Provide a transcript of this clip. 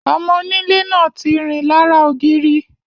Ọmọ onílé náà tí rìn lára ògiri.